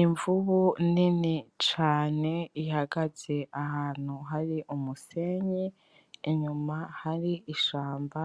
Imvubu nini cane ihagaze ahantu hari umusenyi ,inyuma hari ishamba